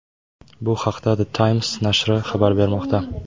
Bu haqda The Times nashri xabar bermoqda .